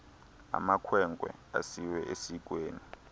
amakhwenkwe asiwe esikweni